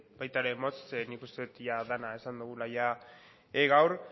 baita ere motz nik uste dut ia dena esan dugula jada gaur